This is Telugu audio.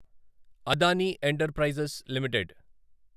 Adani enterprises limited